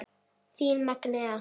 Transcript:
Þín Magnea.